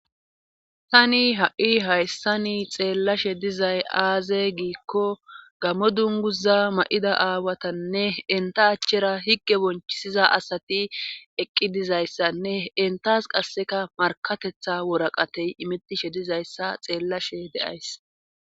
Tani ha'i hayssa ni xeellashe dizay aaze giikko gamo dunguza may'ida aawatanne enta achchera higge bonchisiza asati eqqi dizayssanne entas qasseka markatetha woraqatey imetishe dizayssa xeellashe deays